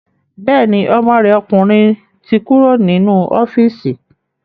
Bẹ́ẹ̀ni, ọmọ rẹ̀ ọkùnrin ti kúrò nínú ọ́fíìsì